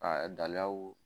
A dalaw